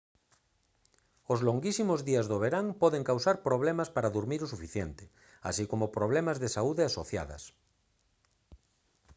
os longuísimos días do verán poden causar problemas para durmir o suficiente así como problemas de saúde asociadas